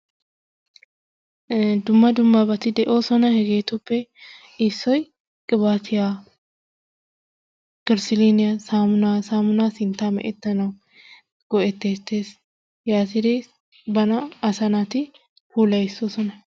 Dumma dummbati de'oososna hegettuppe issoy qibattiya, gersiliiniyaa, saamunnaa sinttaa mechetanawu go'etettees ,yatiddi banttanna asaa naati pulayissoosona.